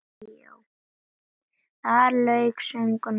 Þar lauk sögnum, heldur óvænt.